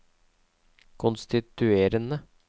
konstituerende